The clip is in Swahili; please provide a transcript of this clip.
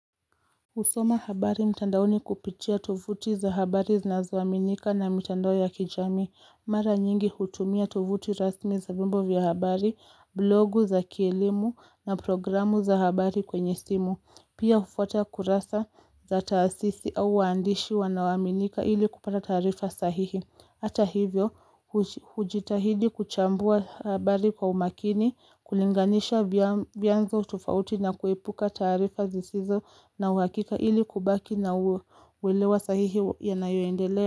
Husoma habari mtandaoni kupitia tovuti za habari zinazoaminika na mitandao ya kijamii. Mara nyingi hutumia tovuti rasmi za vyombo vya habari, blogu za kielimu na programu za habari kwenye simu. Pia hufuata kurasa za taasisi au waandishi wanaoaminika ili kupata taarifa sahihi. Hata hivyo, hujitahidi kuchambua habari kwa umakini, kulinganisha vianzo tofauti na kuepuka taarifa zisizo na uhakika ili kubaki na uelewa sahihi yanayoendelea.